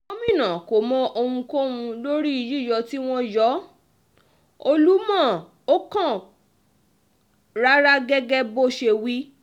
gomina kò mọ ohunkóhun lórí yíyọ tí wọ́n yọ olúmọ o kò kàn án rárá gẹ́gẹ́ bó ṣe wí